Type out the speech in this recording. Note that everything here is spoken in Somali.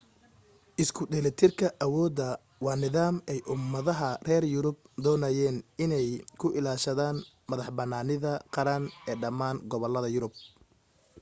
isku dheelitirka awooddu waa nidaam ay ummadaha reer yurub doonayeen in ay ku ilaashadaan madax-bannaanida qaran ee dhammaan gobollada yurub